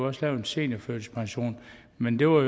også lavet en seniorførtidspension men der var